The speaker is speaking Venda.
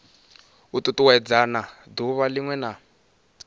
u tutuwedzana duvha linwe na